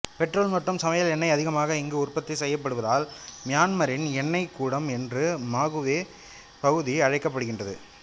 petrol மற்றும் சமையல் எண்ணெய் அதிகமாக இங்கு உற்பத்தி செய்யப்படுவதால் மியான்மரின் எண்ணெய் குடம் என்று மாகுவே பகுதி அழைக்கப்படுகின்றது